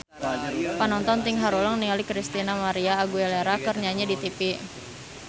Panonton ting haruleng ningali Christina María Aguilera keur nyanyi di tipi